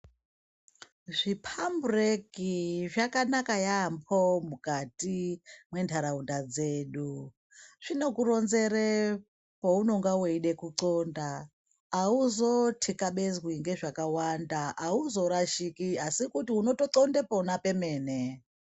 Zvi pambureki zvakanaka yambo mukati mwe ndaraunda dzedu zvinoku ronzera paunenge weida ku ndxonda auzo tekabenzwi nge zvakawanda auzo rashiki asi unoto ndxonda pona pemene.